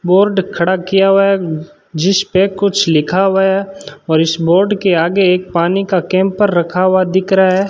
Board खड़ा किया हुआ है जिसपे कुछ लिखा हुआ है और इस बोर्ड के आगे एक पानी का कैंपर रखा हुआ दिख रहा है।